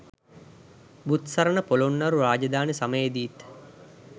බුත්සරණ පොළොන්නරු රාජධානි සමයේදීත්